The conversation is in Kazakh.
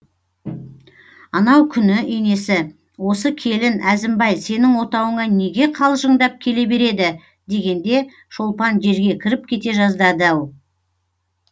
анау күні енесі осы келін әзімбай сенің отауыңа неге қалжыңдап келе береді дегенде шолпан жерге кіріп кете жаздады ау